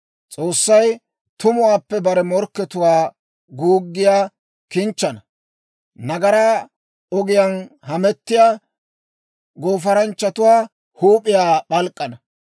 S'oossay tumuwaappe bare morkkatuwaa, guuggiyaa kinchchana; nagaraa ogiyaan hamettiyaa, goofaranchchatuwaa huup'iyaa p'alk'k'ana.